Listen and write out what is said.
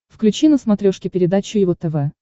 включи на смотрешке передачу его тв